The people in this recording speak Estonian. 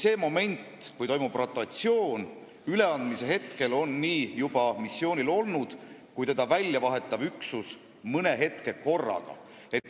Sel momendil, kui toimub rotatsioon, st üleandmise hetkel on Malis nii juba missioonil olnud kui teda väljavahetav üksus mõne aja korraga.